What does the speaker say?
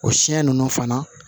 O siyɛn ninnu fana